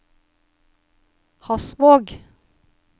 Hasvåg